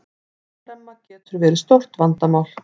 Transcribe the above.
Andremma getur verið stórt vandamál.